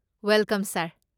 Welcome ꯁꯥꯔ꯫